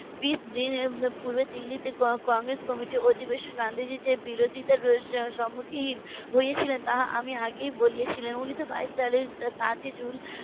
. পূর্বে দিল্লীতে কংগ্রেস committee র অধিবেশনে গান্ধীজির যে বিরোধিতার সম্মুখীন হয়েছিলেন তা আমি আগেই বলেছিলাম উনি তো বাইশ সালের সাত ই জুন